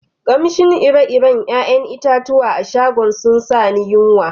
Kamshin ire-ire yayan itatuwan a'shagon sun sa ni yunwa.